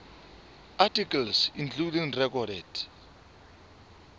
articles including recorded